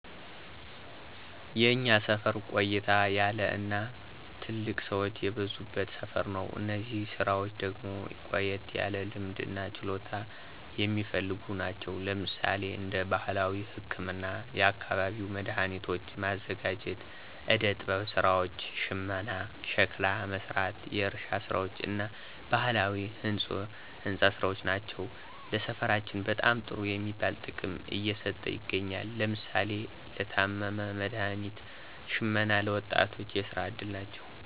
የእኛ ሰፈር ቆየት ያለ እና ትልልቅ ሰወች የበዙበት ሰፈር ነው። እነዚህ ስራወች ደግሞ ቆየት ያለ ልምድ እና ችሎታ የሚፈልጉ ናቸው። ለምሳሌ እንደ ባህላዊ ህክምና፣ የአካባቢው መዳኃኒቶች ማዘጋጀት፣ ዕደ ጥበብ ስራወች፣ ሽመና፣ ሸክላ መስራት፣ የእርሻ ስራወች እና ባህላዊ ህንፆ አሰራር ናቸው። ለሰፈራችንም በጣም ጥሩ የሚባል ጥቅም እየሰጡ ይገኛሉ። ለምሳሌ ለታመመ መድሀኒት ሽመና ለ ወጣቶች የስራ እድል ናቸው።